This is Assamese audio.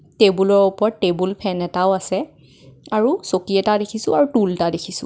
টেবুল ৰ উপৰত টেবুল ফেন এটাও আছে আৰু চকী এটা দেখিছোঁ আৰু টুল এটা দেখিছোঁ.